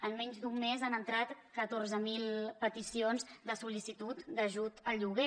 en menys d’un mes han entrat catorze mil peticions de sol·licitud d’ajut al lloguer